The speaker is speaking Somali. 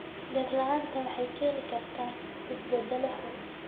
Dhir la'aanta waxay keeni kartaa isbeddello xun.